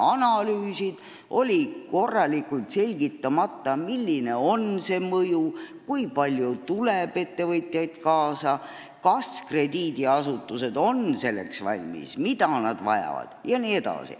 Analüüsid olid tegemata ja korralikult välja selgitamata ka selle mõju – kui palju ettevõtjaid tuleb kaasa, kas krediidiasutused on selleks valmis, mida nad vajavad jne.